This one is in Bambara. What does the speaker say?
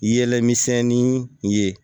Yɛlɛ misɛnnin ye